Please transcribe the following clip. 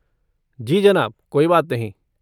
जी जनाब, कोई बात नहीं।